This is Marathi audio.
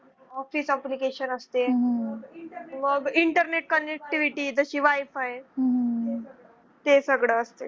office application असते. मग internet connectivity जशी wi-fi ते सगळं असते.